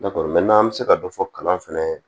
an bɛ se ka dɔ fɔ kalan fɛnɛ